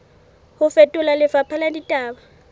ho fetola lefapha la ditaba